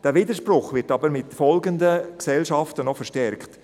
Der Widerspruch wird aber mit folgenden Gesellschaften noch verstärkt: